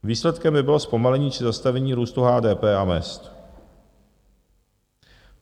Výsledkem by bylo zpomalení či zastavení růstu HDP a mezd.